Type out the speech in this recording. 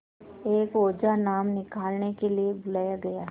एक ओझा नाम निकालने के लिए बुलाया गया